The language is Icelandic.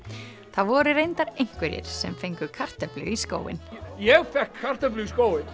það voru reyndar einhverjir sem fengu kartöflu í skóinn ég fékk kartöflu í skóinn